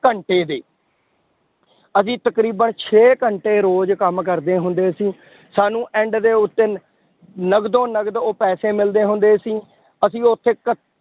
ਘੰਟੇ ਦੇ ਅਸੀਂ ਤਕਰੀਬਨ ਛੇ ਘੰਟੇ ਰੋਜ਼ ਕੰਮ ਕਰਦੇ ਹੁੰਦੇ ਸੀ ਸਾਨੂੰ end ਦੇ ਉੱਤੇ ਨਕਦੋ ਨਕਦ ਉਹ ਪੈਸੇ ਮਿਲਦੇ ਹੁੰਦੇ ਸੀ, ਅਸੀਂ ਉੱਥੇ ਕ~